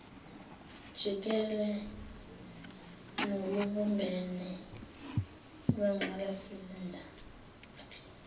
jikele nolubumbene lwengqalasizinda